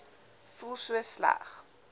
voel so sleg